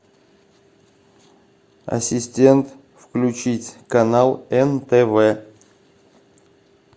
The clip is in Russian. ассистент включить канал нтв